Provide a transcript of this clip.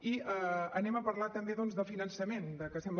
i parlem també doncs de finançament de que sembla